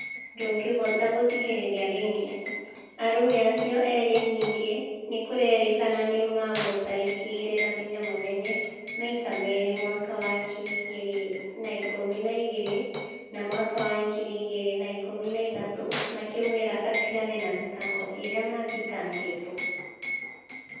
Ndũngĩhota gũthikĩrĩria rĩngĩ ; arũme acio erĩ ningĩ nĩkũrerĩkana nĩmamũtharĩkĩire na hinya mũnene maita merĩ mwaka wa ngiri igĩrĩ na ikũmi na igĩrĩ na mwaka wa ngiri igĩrĩ na ikũmi na ithatũ makĩmwĩra atĩgane na thitango ĩrĩa mathitangĩtwo